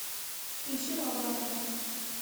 включи ла бамба